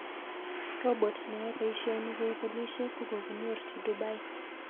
Robot neyae paishonik kou polishek kokokinyorchi Dubai